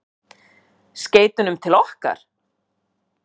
Skeytunum til okkar?